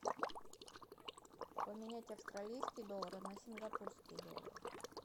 поменять австралийский доллар на сингапурский доллар